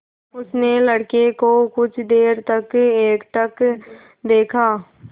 उसने लड़के को कुछ देर तक एकटक देखा